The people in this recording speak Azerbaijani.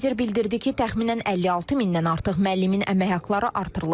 Nazir bildirdi ki, təxminən 5600-dən artıq müəllimin əmək haqları artırılıb.